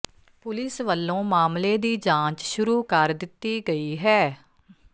police ਵੱਲੋਂ ਮਾਮਲੇ ਦੀ ਜਾਂਚ ਸ਼ੁਰੂ ਕਰ ਦਿੱਤੀ ਗਈ ਹੈ